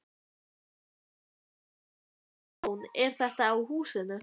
Þóra: Hversu mikið tjón er þetta á húsinu?